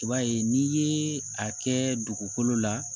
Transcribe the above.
I b'a ye n'i ye a kɛ dugukolo la